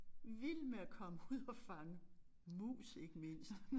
Vild med at komme ud og fange mus ikke mindst